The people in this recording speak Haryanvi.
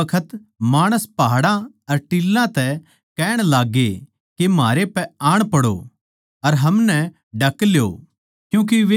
उस बखत माणस पहाड़ां अर टीलां तै कहण लाग्ये के म्हारै पै आण पड़ो अर हमनै ढक ल्यो